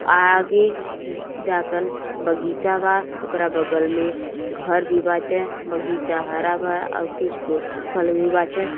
आगे न्-जा कन बगीचा बा ओकरा बगल में घर भी बाटे। बगीचा हरा भरा अउर कुछ पेड़ सुखल भी बाटे।